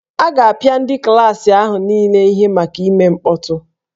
A ga-apịa ndị klaasị ahụ niile ihe maka ime mkpọtụ